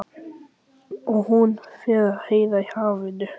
Og hún fer að heyra í hafinu.